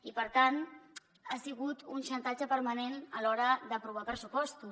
i per tant ha sigut un xantatge permanent a l’hora d’aprovar pressupostos